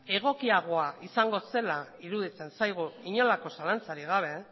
egokiagoa izango zela iruditzen zaigu inolako zalantzarik gabe